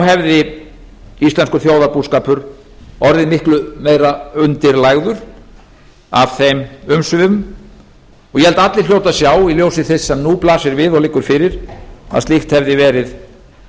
hefði íslenskur þjóðarbúskapur orðið miklu meira undirlagður af þeim umsvifum og ég held að allir hljóti að sjá í ljósi þess sem nú blasir við og liggur fyrir að slíkt hefði verið